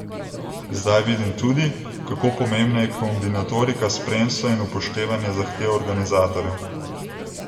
Zdaj vidim tudi, kako pomembna je kombinatorika spremstva in upoštevanje zahtev organizatorjev.